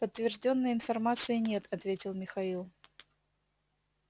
подтверждённой информации нет ответил михаил